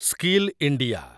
skill India